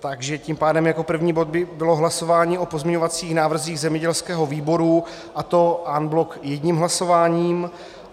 Takže tím pádem jako první bod by bylo hlasování o pozměňovacích návrzích zemědělského výboru, a to en bloc jedním hlasováním.